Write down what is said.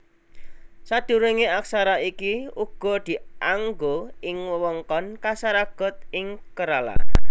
Sadurungé aksara iki uga dianggo ing wewengkon Kasaragod ing Kerala